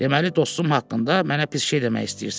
Deməli dostum haqqında mənə pis şey demək istəyirsən.